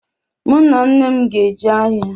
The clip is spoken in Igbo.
Mụ na nne m ga-eje ahịa